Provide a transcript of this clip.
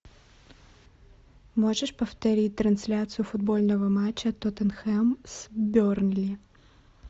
можешь повторить трансляцию футбольного матча тоттенхэм с бернли